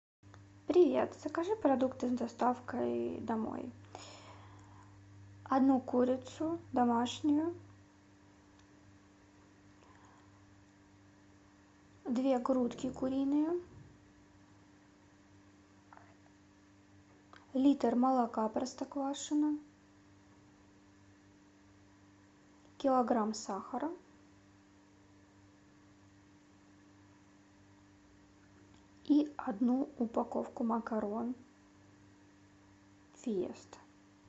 привет закажи продукты с доставкой домой одну курицу домашнюю две грудки куриные литр молока простоквашино килограмм сахара и одну упаковку макарон фиеста